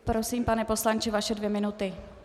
Prosím, pane poslanče, vaše dvě minuty.